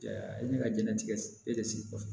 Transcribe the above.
E bɛ ka jɛnnatigɛ e de sigi kɔfɛ